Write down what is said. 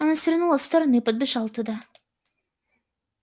она свернула в сторону и подбежала туда